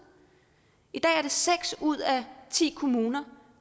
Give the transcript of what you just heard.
i dag er det seks ud af ti kommuner